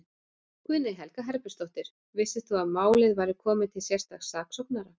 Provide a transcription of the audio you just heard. Guðný Helga Herbertsdóttir: Vissir þú að málið væri komið til sérstaks saksóknara?